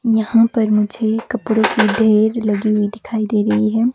यहां पर मुझे कपडो की ढेर लगी हुई दिखाई दे रही हैं।